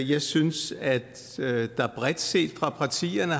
jeg synes at der bredt set fra partiernes